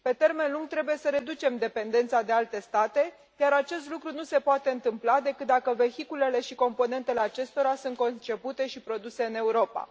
Pe termen lung, trebuie să reducem dependența de alte state, iar acest lucru nu se poate întâmpla decât dacă vehiculele și componentele acestora sunt concepute și produse în Europa